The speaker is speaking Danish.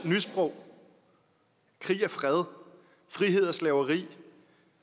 nysprog krig er fred frihed er slaveri